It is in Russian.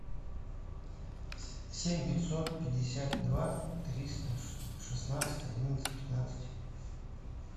семь пятьсот пятьдесят два триста шестнадцать одиннадцать пятнадцать